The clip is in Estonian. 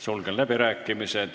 Sulgen läbirääkimised.